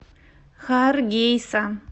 харгейса